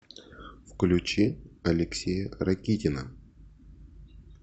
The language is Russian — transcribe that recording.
включи алексея ракитина